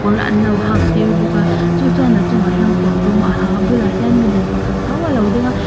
an lo hak tir bawk a chu chuan a chungah hian kawr dum a ha a a bulah hian milem pakhat tho a lo ding a.